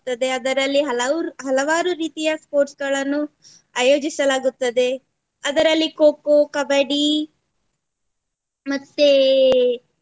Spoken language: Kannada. ಅದೆ ಅದರಲ್ಲಿ ಹಲರು~ ಹಲವಾರು ರೀತಿಯ sports ಗಳನ್ನು ಆಯೋಜಿಸಲಾಗುತ್ತದೆ. ಅದರಲ್ಲಿ Kho Kho, Kabaddi ಮತ್ತೆ